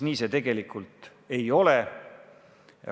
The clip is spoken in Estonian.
Nii see tegelikult ei ole.